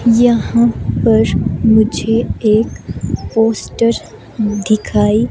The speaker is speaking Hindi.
यहाँ पर मुझे एक पोस्टर दिखाई--